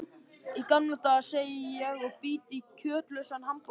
Í gamla daga, segi ég og bít í kjötlausan hamborgarann.